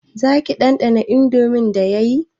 Zaki ɗanɗana indomin da yayi